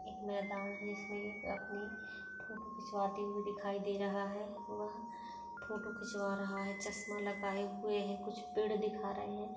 एक मैदान है इसमे अपनी फोटो खिचवाते हुए दिखाई दे रहा है। वह फोटो खिचवा रहा है। चस्मा लगाए हुए है कुछ पेड़ दिखा रहे हैं।